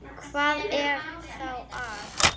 Hvað er þá að?